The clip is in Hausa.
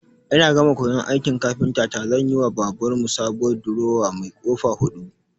Ina gama koyan aikin kafintata zanyiwa babar mu sabuwar durowa mai ƙofa huɗu.